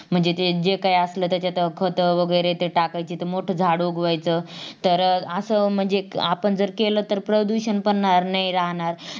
म्हणजे ते जे काही असल त्यात खत वगैरे ते टाकायची तर ते मोठा झाड उगवायचा तर अं अस म्हणजे आपण केला तर प्रदूषण पण राहणार नाही